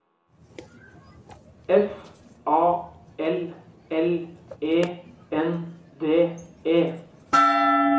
F A L L E N D E